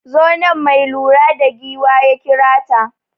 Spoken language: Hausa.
Zo nan, mai lura da giwa ya kira ta.